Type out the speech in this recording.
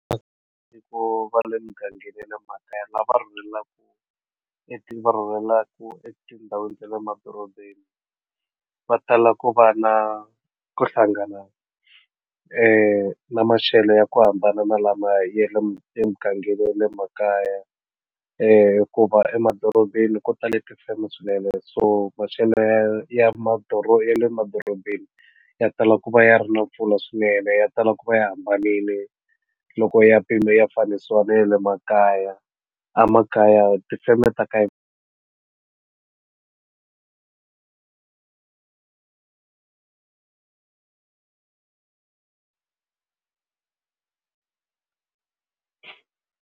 Ku va le mugangeni ya le makaya lava rhurhelaka e ti va rhumelaka etindhawini ta le madorobeni va tala ku va na ku hlangana na maxelo ya ku hambana na lama ya le mugangeni ya le makaya hikuva emadorobeni ku ta le tifeme swinene so maxelo ya madoroba ya le madorobeni ya tala ku va ya ri na mpfula swinene ya tala ku va ya hambanile loko ya mpimo ya fanisiwa na ya le makaya emakaya tifeme ta ka.